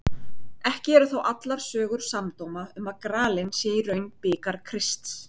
Ekki eru þó allar sögur samdóma um að gralinn sé í raun bikar Krists.